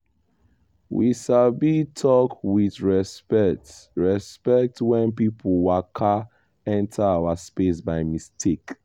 we sabi talk with respect respect when person waka enter our space by mistake.